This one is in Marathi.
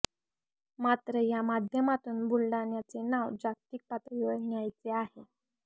मात्र या माध्यमातून बुलडाण्याचे नाव जागतिक पातळीवर न्यायचा आहे